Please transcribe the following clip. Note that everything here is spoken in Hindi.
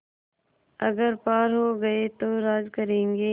अगर पार हो गये तो राज करेंगे